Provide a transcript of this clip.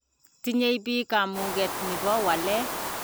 Tinyei biich kamuget nipo walee.